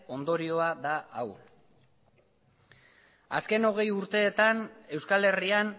ondorioa da hau azken hogei urteetan euskal herrian